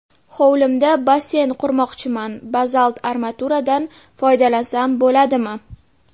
Hovlimda basseyn qurmoqchiman, bazalt armaturadan foydalansam bo‘ladimi?